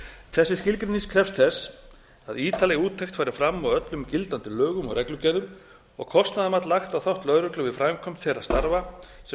þessi skilgreining krefst þess að ítarleg úttekt fari fram á öllum gildandi lögum og reglugerðum og kostnaðarmat lagt á þátt lögreglu við framkvæmd þeirra starfa sem